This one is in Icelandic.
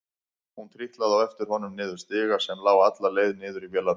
Hún trítlaði á eftir honum niður stiga sem lá alla leið niður í vélarrúmið.